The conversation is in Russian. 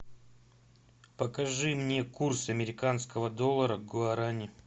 покажи мне курс американского доллара к гуарани